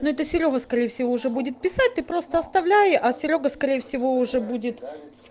ну это серёга скорее всего уже будет писать ты просто оставляй а серёга скорее всего уже будет